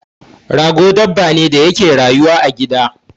Rago dabba ne da yake rayuwa a gida